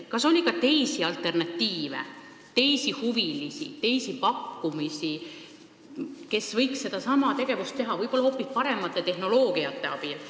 Kas oli ka teisi alternatiive – teisi huvilisi, teisi pakkujaid, kes võiks sedasama teha võib-olla hoopis paremat tehnoloogiat kasutades?